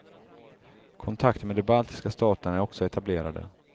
Kontakter med de baltiska staterna är också etablerade.